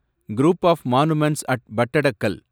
group of monuments at Pattadakal